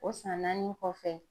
O san naani kɔfɛ